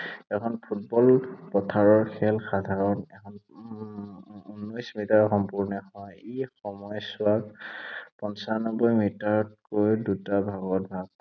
এখন ফুটবল পথাৰৰ খেল সাধাৰণতে উম উনৈশ মিটাৰত সম্পূৰ্ণ হয়। এই সময়ছোৱাক পঞ্চানব্বৈ মিটাৰতকৈ দুটা ভাগত ভাগ